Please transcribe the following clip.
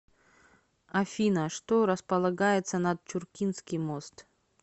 афина что располагается над чуркинский мост